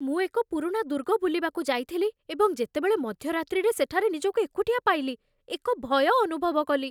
ମୁଁ ଏକ ପୁରୁଣା ଦୁର୍ଗ ବୁଲିବାକୁ ଯାଇଥିଲି, ଏବଂ ଯେତେବେଳେ ମଧ୍ୟରାତ୍ରିରେ ସେଠାରେ ନିଜକୁ ଏକୁଟିଆ ପାଇଲି, ଏକ ଭୟ ଅନୁଭବ କଲି।